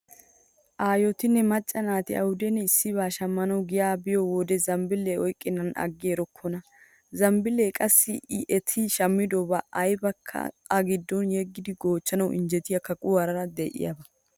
Ayotinne macca naati awudenne issiba shammanawu giya biyo wode zambbiile oyqqennan aggi erokkona. Zambbiilee qassi eti shammidobaa aybakka a giddon yeggidi goochchanawu injjetiya kaquwara diyaba.